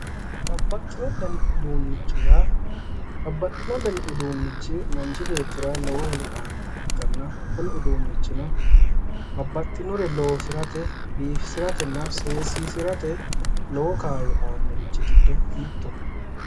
babbaxino dani uduunnicho babbaxino dani uduunnichi yaa manchi beetira lowo horo aannoha ikkanna babbaxewore loosirate biifisatenna seesisirate lowo kaayyo aannorichi giddo mittoho